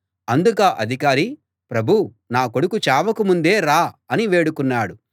అందుకా అధికారి ప్రభూ నా కొడుకు చావక ముందే రా అని వేడుకున్నాడు